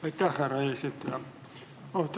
Aitäh, härra eesistuja!